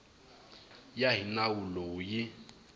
ya hi nawu lowu yi